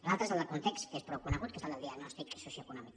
l’altre és el del context que és prou conegut que és el del diagnòstic socioeconòmic